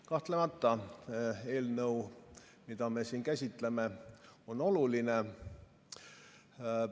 Kahtlemata on eelnõu, mida me siin käsitleme, oluline.